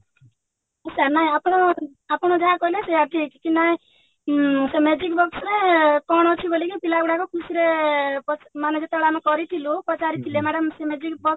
sir ଆପଣ ଆପଣ ଯାହା କହିଲେ ସେଇଆ ଠିକ କି ଆମେ ସେ magic box ରେ କଣ ଅଛିକି ବୋଲିକି ପିଲାଗୁଡାକ ଖୁସିରେ ମାନେ ଯେତେବେଳେ ଆମେ କରିଥିଲୁ ପଚାରିଥିଲେ madam ସେ magic box